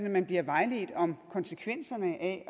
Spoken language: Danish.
at man bliver vejledt om konsekvenserne af